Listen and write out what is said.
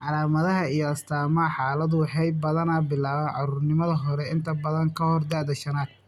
Calaamadaha iyo astaamaha xaaladdu waxay badanaa bilaabaan carruurnimada hore, inta badan ka hor da'da shaanad.